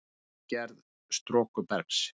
Ytri gerð storkubergs